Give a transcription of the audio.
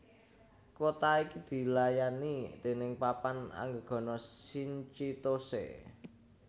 Kota iki dilayani déning Papan Anggegana Shinchitose